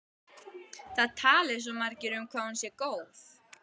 Það tali svo margir um hvað hún sé góð.